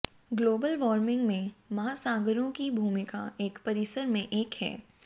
global warming में महासागरों की भूमिका एक परिसर में एक है